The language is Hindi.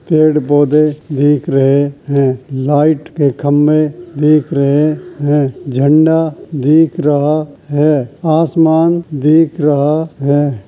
पेड़ पौधे देख रहे हैं| लाइट के खम्भे देख रहे हैं| झंडा दिख रहा है| आसमान दिख रहा है।